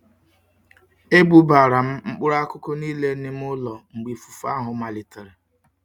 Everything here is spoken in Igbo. Ebubara m mkpuru akuku nile n'ime ulo mgbe ifufe ahu malitere.